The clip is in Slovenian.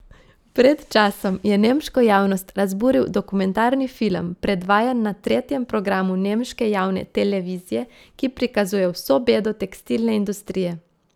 Pred časom je nemško javnost razburil dokumentarni film, predvajan na tretjem programu nemške javne televizije, ki prikazuje vso bedo tekstilne industrije.